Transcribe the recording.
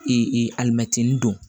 alimɛtinin don